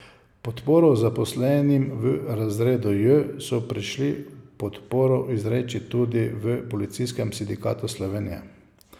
Podporo zaposlenim v razredu J so prišli podporo izreči tudi v Policijskem sindikatu Slovenije.